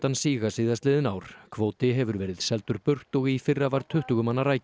síga síðastliðin ár kvóti hefur verið seldur burt og í fyrra var tuttugu manna